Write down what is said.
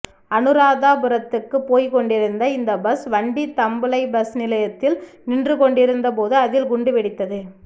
அனுராதபுரத்துக்குப் போய்க் கொண்டிருந்த இந்த பஸ் வண்டி தம்புள்ளை பஸ் நிலையத்தில் நின்று கொண்டிருந்த போது அதில் குண்டு வெடித்தது